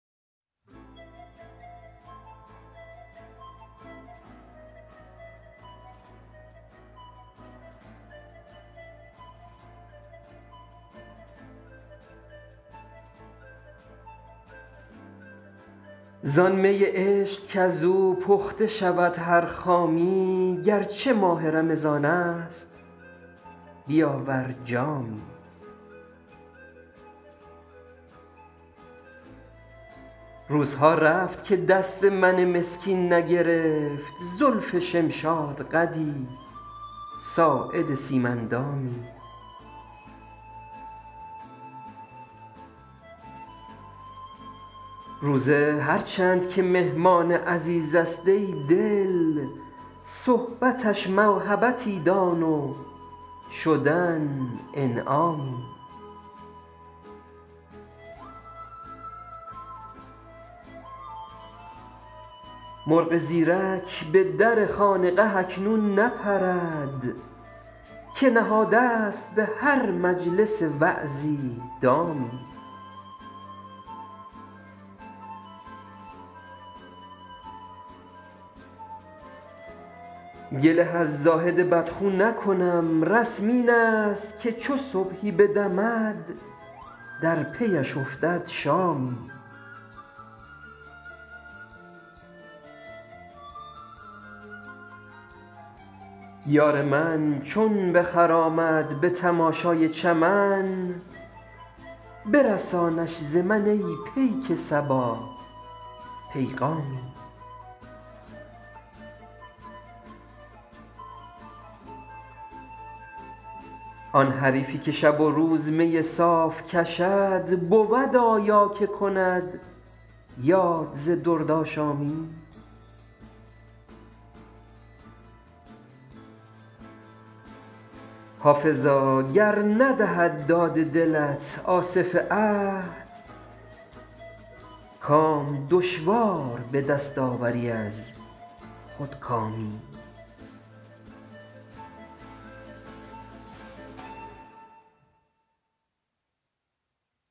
زان می عشق کز او پخته شود هر خامی گر چه ماه رمضان است بیاور جامی روزها رفت که دست من مسکین نگرفت زلف شمشادقدی ساعد سیم اندامی روزه هر چند که مهمان عزیز است ای دل صحبتش موهبتی دان و شدن انعامی مرغ زیرک به در خانقه اکنون نپرد که نهاده ست به هر مجلس وعظی دامی گله از زاهد بدخو نکنم رسم این است که چو صبحی بدمد در پی اش افتد شامی یار من چون بخرامد به تماشای چمن برسانش ز من ای پیک صبا پیغامی آن حریفی که شب و روز می صاف کشد بود آیا که کند یاد ز دردآشامی حافظا گر ندهد داد دلت آصف عهد کام دشوار به دست آوری از خودکامی